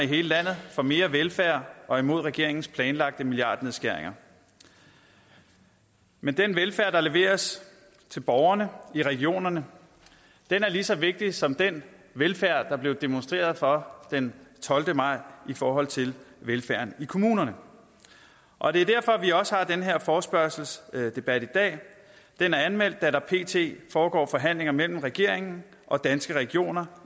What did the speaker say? hele landet for mere velfærd og imod regeringens planlagte milliardnedskæringer men den velfærd der leveres til borgerne i regionerne er lige så vigtig som den velfærd der blev demonstreret for den tolvte maj i forhold til velfærden i kommunerne og det er derfor vi har den her forespørgselsdebat i dag den er anmeldt da der pt foregår forhandlinger mellem regeringen og danske regioner